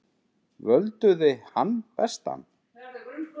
Völduði hann bestan?